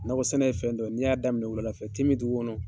Nakɔsɛnɛ ye fɛn dɔ ye n'i y'a daminɛ wuladafɛtemin dugu kɔnɔ.